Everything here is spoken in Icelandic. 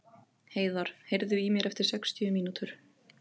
Heiðar, heyrðu í mér eftir sextíu mínútur.